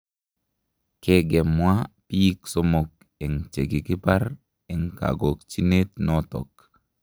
Kegemwa biik somook eng' chekikakipar eng' kagokchinet natok